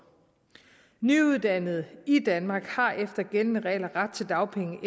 nyuddannede i danmark har efter gældende regler ret til dagpenge og